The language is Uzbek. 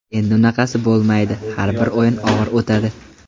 Endi unaqasi bo‘lmaydi, har bir o‘yin og‘ir o‘tadi.